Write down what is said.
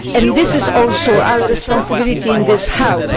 This is also our responsibility in this House.